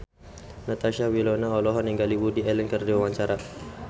Natasha Wilona olohok ningali Woody Allen keur diwawancara